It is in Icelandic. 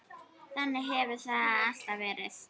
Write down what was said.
Þannig hefur það alltaf verið.